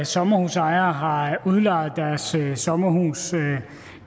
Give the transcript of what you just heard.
sommerhusejere har udlejet deres sommerhuse